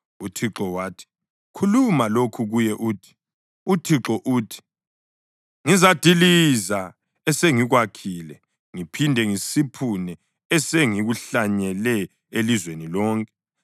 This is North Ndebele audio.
UThixo wathi, Khuluma lokhu kuye uthi: ‘ UThixo uthi: Ngizadiliza esengikwakhile ngiphinde ngisiphune esengikuhlanyele elizweni lonke.